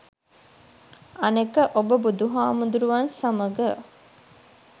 අනෙක ඔබ බුදුහාමුදුරුවන් සමග